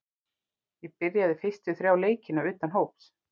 Ég byrjaði fyrstu þrjá leikina utan hóps.